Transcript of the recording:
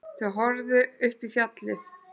Þau horfðu upp í fjallið.